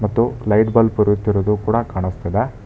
ಮತ್ತು light bulb ಉರಿಯುತ್ತಿರುವುದು ಕೂಡ ಕಾಣಿಸ್ತಿದೆ.